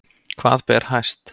Hvað ber hæst